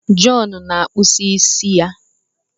John na-akpụ isi ya.